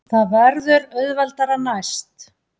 Það verður auðveldara næst.